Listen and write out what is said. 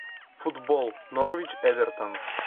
футбол норвич эвертон